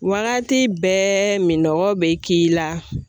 Wagati bɛɛ min nɔgɔw bɛ k'i la .